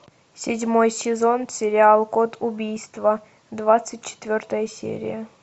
седьмой сезон сериал код убийства двадцать четвертая серия